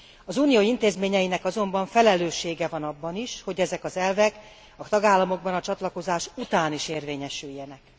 Az Unió intézményeinek azonban felelőssége van abban is, hogy ezek az elvek a tagállamokban a csatlakozás után is érvényesüljenek.